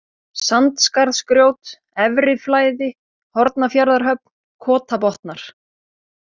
Sandskarðsgrjót, Efriflæði, Hornafjarðarhöfn, Kotabotnar